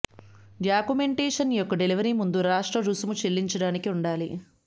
documentation యొక్క delivery ముందు రాష్ట్ర రుసుము చెల్లించటానికి ఉండాలి